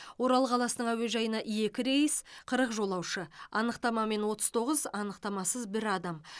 орал қаласының әуежайына екі рейс қырық жолаушы анықтамамен отыз тоғыз анықтамасыз бір адам